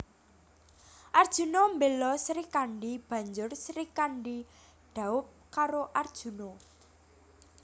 Arjuna mbela Srikandhi banjur Srikandhi dhaup karo Arjuna